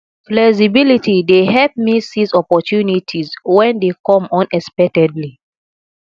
flexibility dey help me seize opportunities when they come unexpectedly